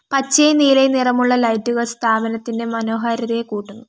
പച്ചയും നീലയും നിറമുള്ള ലൈറ്റുകൾ സ്ഥാപനത്തിൻറെ മനോഹാരിതയെ കൂട്ടുന്നു.